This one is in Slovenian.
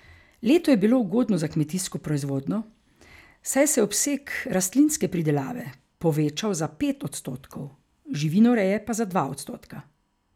Leto je bilo ugodno za kmetijsko proizvodnjo, saj se je obseg rastlinske pridelave povečal za pet odstotkov, živinoreje pa za dva odstotka.